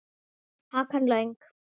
Hakan löng.